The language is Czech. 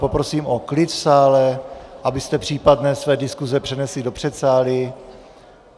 Poprosím o klid v sále, abyste případné své diskuse přenesli do předsálí.